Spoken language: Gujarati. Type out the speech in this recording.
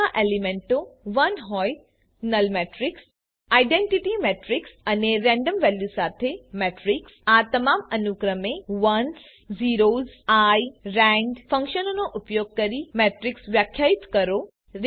બધા એલિમેન્ટો 1 હોય નલ મેટ્રીક્સ આઇડેન્ટિટી મેટ્રીક્સ અને રેન્ડમ વેલ્યુઝ સાથે મેટ્રીક્સ આ તમામ અનુક્રમે ones zeros eye rand ફન્કશનનો ઉપયોગ કરી મેટ્રીક્સ વ્યાખ્યાયિત કરો